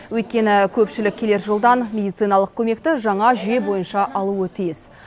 өйткені көпшілік келер жылдан медициналық көмекті жаңа жүйе бойынша алуы тиіс